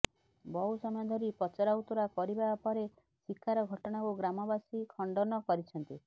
ବହୁ ସମୟ ଧରି ପଚରାଉଚୁରା କରିବା ପରେ ଶିକାର ଘଟଣାକୁ ଗ୍ରାମବାସୀ ଖଣ୍ଡନ କରିଛନ୍ତି